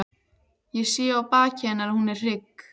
Ég sé á baki hennar að hún er hrygg.